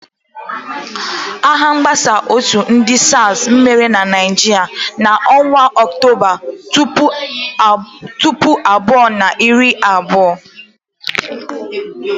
Agha mgbasa òtù ndị SARS mere na Naịjirịa n'ọnwa Ọktoba, puku abụọ na iri abụọ.